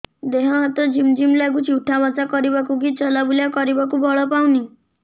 ଦେହେ ହାତ ଝିମ୍ ଝିମ୍ ଲାଗୁଚି ଉଠା ବସା କରିବାକୁ କି ଚଲା ବୁଲା କରିବାକୁ ବଳ ପାଉନି